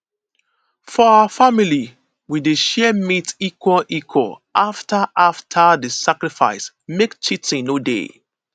for our family we dey share meat equal equal after after di sacrifice make cheating no dey